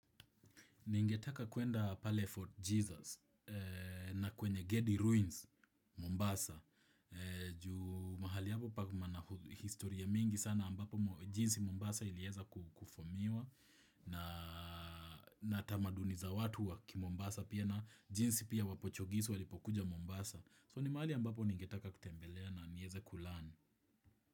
Ningetaka kuenda pale fort Jesus na kwenye Gedi Ruins, Mombasa. Juu mahali hapo pana historia mingi sana ambapo jinsi Mombasa ilieza kufumiwa na tamaduni za watu wakimombasa pia na jinsi pia wapochogisi walipokuja Mombasa. So ni mahali ambapo ningetaka kutembelea na niweze kusoma.